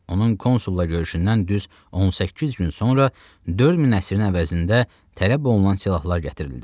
Onun konsulla görüşündən düz 18 gün sonra dörd min əsrin əvəzində tələb olunan silahlar gətirildi.